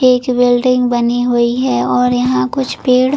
एक बिल्डिंग बनी हुई है और यहाँ कुछ पेड़--